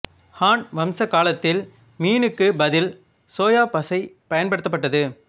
ஹான் வம்சக் காலத்தில் மீனுக்குப் பதில் சோயாப் பசை பயன்பட்டது